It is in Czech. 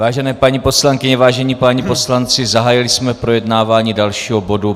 Vážené paní poslankyně, vážení páni poslanci, zahájili jsme projednávání dalšího bodu.